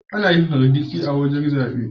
Anayin hargitsi a wajan zabe